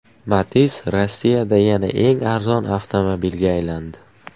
Matiz Rossiyada yana eng arzon avtomobilga aylandi.